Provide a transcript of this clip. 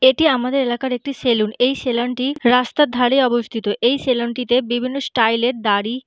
এটি আমাদের এলাকার একটি সেলুন এই সেলুন -টি রাস্তার ধারে অবস্থিত এই সেলুন -টিতে বিভিন্ন স্টাইল -এর দাঁড়ি--